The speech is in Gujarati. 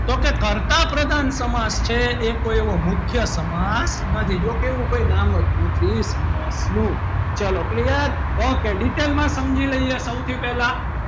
તો કે કર્તા પ્રધાન સમાસ છે એ કોઈ એવો મુખ્ય સમાજ નથી જો કોઈ એવું નામ જ નથી સમાસનું ચલો clear okay detail માં સમજી લઈએ સૌથી પહેલા,